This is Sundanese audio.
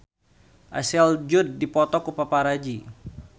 Ashley Judd dipoto ku paparazi